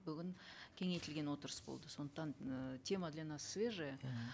бүгін кеңейтілген отырыс болды сондықтан э тема для нас свежая